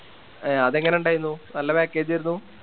ആ അതെങ്ങനെ ഇണ്ടായിന്നു നല്ല Package ആയിരുന്നു